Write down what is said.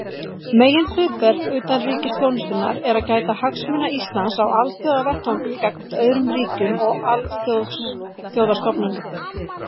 Meginhlutverk utanríkisþjónustunnar er að gæta hagsmuna Íslands á alþjóðavettvangi gagnvart öðrum ríkjum og alþjóðastofnunum.